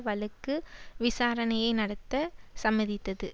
வழக்கு விசாரணையை நடத்த சம்மதித்தது